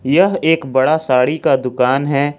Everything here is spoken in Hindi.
यह एक बड़ा साड़ी का दुकान है।